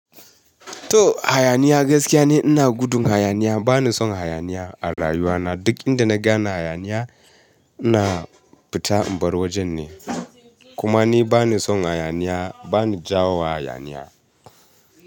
To hayaniya gaskiya ne ina gudun hayaniya, bani son hayaniya a rayuwa na. Duk inda na gane hayaniya ina fita in bar wajen ne. Kuma ni bani son hayaniya, bani jawo wa hayaniya.